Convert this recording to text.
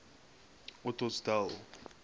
ottosdal